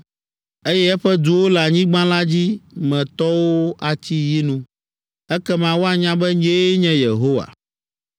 eye eƒe duwo le anyigba la dzi me tɔwo atsi yinu. Ekema woanya be nyee nye Yehowa.”